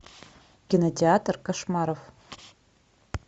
кинотеатр кошмаров